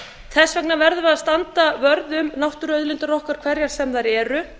þess vegna verður að standa vörð um náttúruauðlindir okkar hverjar sem þær eru